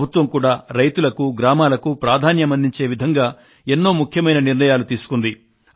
ప్రభుత్వం కూడా రైతులకూ గ్రామాలకు ప్రాధాన్యం అందించే విధంగా ఎన్నో ముఖ్యమైన నిర్ణయాలు తీసుకుంది